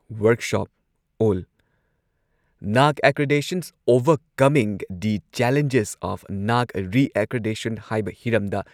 workshop on NAAC accreditation overcoming the challenges of NAAC reaccreditation ꯍꯥꯏꯕ ꯍꯤꯔꯝꯗ